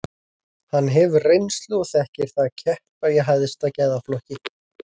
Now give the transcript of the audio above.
Hann hefur reynslu og þekkir það að keppa í hæsta gæðaflokki.